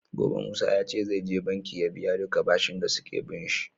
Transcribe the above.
Gobe musa yace zai je banki ya biya duka bashin da suke binshi